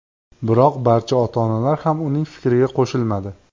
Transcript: Biroq barcha ota-onalar ham uning fikriga qo‘shilmadi.